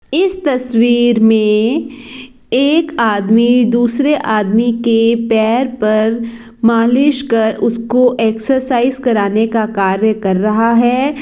इस तस्वीर में एक आदमी दूसरे आदमी के पैर पर मालिश कर उसको एक्सरसाइज कराने का कार्य कर रहा है।